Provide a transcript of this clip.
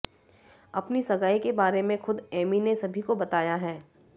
अपनी सगाई के बारे में खुद एमी ने सभी को बताया है